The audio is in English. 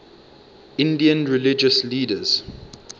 indian religious leaders